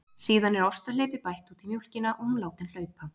Síðan er ostahleypi bætt út í mjólkina og hún látin hlaupa.